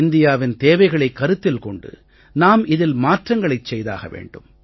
இந்தியாவின் தேவைகளைக் கருத்தில் கொண்டு நாம் இதில் மாற்றங்களைச் செய்தாக வேண்டும்